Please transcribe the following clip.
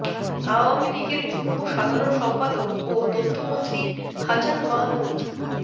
আওয়ামী লীগের যুগ্ম সাধারণ সম্পাদক ও তথ্যমন্ত্রী হাছান মাহমুদ